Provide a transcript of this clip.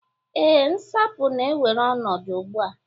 ee, nsapu na-ewere ọnọdụ ugbu a